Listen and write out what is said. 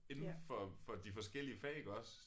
Indenfor for for de forskellige fag iggås